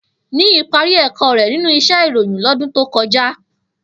Niyi pàri èkò rè ninú íṣè iróyin lòdún tókòjá